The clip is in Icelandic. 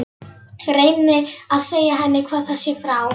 Reyni að segja henni hvað það sé frá